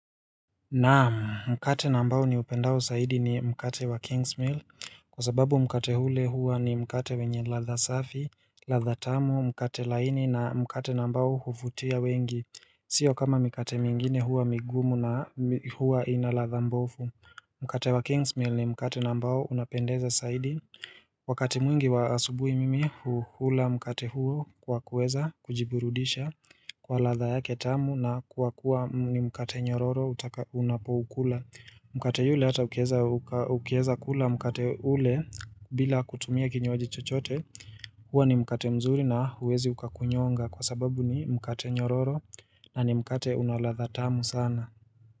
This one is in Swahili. Naam mkate nambao ni upendao zaidi ni mkate wa Kingsmill, kwa sababu mkate ule huwa ni mkate wenye ladha safi, ladha tamu, mkate laini na mkate nambao huvutia wengi, sio kama mikate mingine huwa migumu na huwa ina ladha mbovu. Mkate wa Kingsmill ni mkate nambao unapendeza zaidi Wakati mwingi wa asubuhi mimi huhula mkate huo kwa kuweza kujiburudisha kwa ladha yake tamu na kwa kuwa ni mkate nyororo unapoukula. Mkate yule hata ukieza kula mkate ule bila kutumia kinywaji chochote Hua ni mkate mzuri na huwezi ukakunyonga kwa sababu ni mkate nyororo na ni mkate una ladha tamu sana.